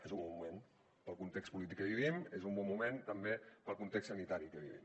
és un bon moment pel context polític que vivim és un bon moment també pel context sanitari que vivim